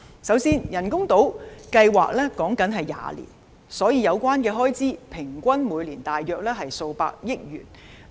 首先，人工島計劃歷時約20年，所以有關開支平均每年大約數百億元。